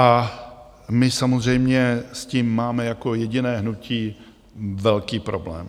A my samozřejmě s tím máme jako jediné hnutí velký problém.